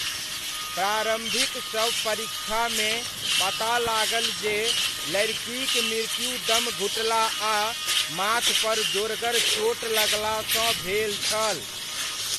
प्रारम्भिक शव परीक्षामे पता लागल जे लड़िकीक मृत्यु दम घुटला आ माथपर जोरगर चोट लगलासँ भेल छल।